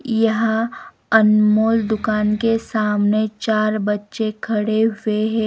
यहां अनमोल दुकान के सामने चार बच्चे खड़े हुए हैं.